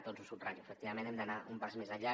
doncs ho subratllo efectivament hem d’anar un pas més enllà